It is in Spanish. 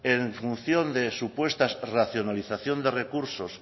en función de supuestas racionalización de recursos